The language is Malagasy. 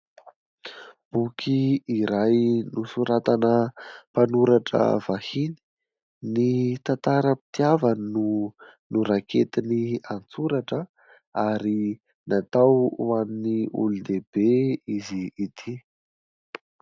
Boky iray nosoratana mpanoratra vahiny. Ny tantaram-pitiavany no noraiketiny an-tsoratra, ary natao ho an'ny olon-dehibe izy ity.